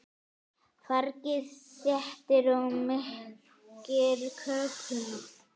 Fargið þéttir og mýkir kökuna.